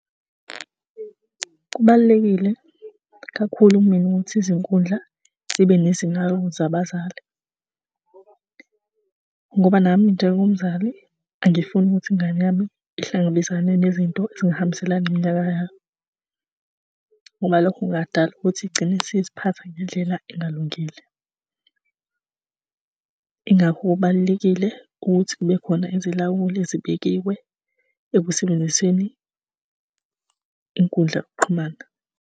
Kubalulekile kakhulu kumina ukuthi izinkundla zibe zabazali ngoba nami njengomzali angifuni ukuthi ingane yami ihlangabezane nezinto ezingahambiselani neminyaka yayo ngoba lokhu kungadali ukuthi igcine isiziphatha ngendlela engalungile. Ingakho kubalulekile ukuthi kube khona izilawuli ezibekiwe ekusebenziseni inkundla yokuxhumana